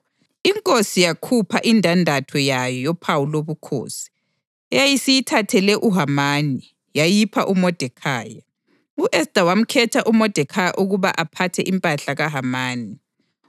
Inkosi yakhupha indandatho yayo yophawu lobukhosi, eyayisiyithathele uHamani, yayipha uModekhayi. U-Esta wamkhetha uModekhayi ukuba aphathe impahla kaHamani.